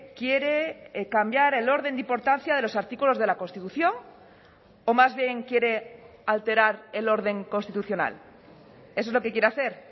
quiere cambiar el orden de importancia de los artículos de la constitución o más bien quiere alterar el orden constitucional eso es lo que quiere hacer